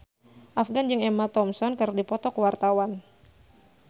Afgan jeung Emma Thompson keur dipoto ku wartawan